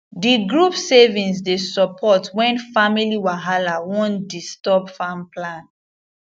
di group savings dey support wen family wahala wan disturb farm plan